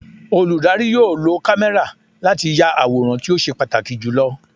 Olùdarí yóò lo kámẹ́rà láti ya àwòrán tí ó ṣe pàtàkì jù lọ.